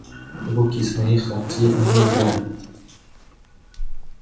руки с моих локтей они убрали